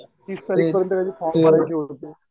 form भरून